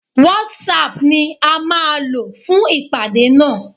WhatsApp ni a má lò fún ìpàdé nà.